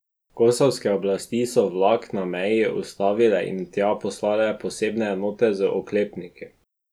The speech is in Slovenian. Kosovske oblasti so vlak na meji ustavile in tja poslale posebne enote z oklepniki.